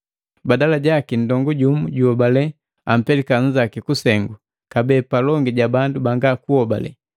Badala jaki nndongu jumu jojuhobalela ampeleka nnzaki kusengu, kabee, palongi ja bandu banga kuhobale!